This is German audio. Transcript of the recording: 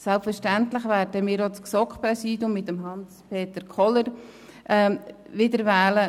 Selbstverständlich werden wir das GSoK-Präsidium mit Hans-Peter Kohler wiederwählen.